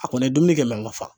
A kɔni ye dumuni kɛ a man fa.